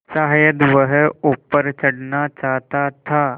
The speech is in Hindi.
शायद वह ऊपर चढ़ना चाहता था